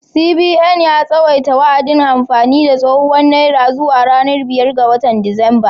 CBN ya tsawaita wa’adin amfani da tsohuwar naira zuwa ranar biyar ga watan Disamba.